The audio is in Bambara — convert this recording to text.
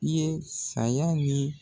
I ye saya ni